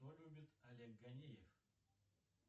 что любит олег гонеев